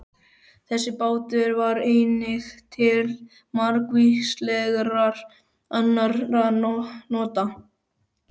Þessi bátur var einnig til margvíslegra annarra nota.